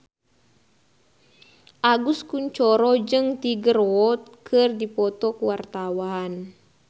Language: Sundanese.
Agus Kuncoro jeung Tiger Wood keur dipoto ku wartawan